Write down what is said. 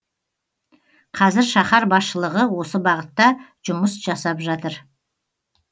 қазір шахар басшылығы осы бағытта жұмыс жасап жатыр